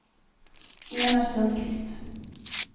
Enar Sundkvist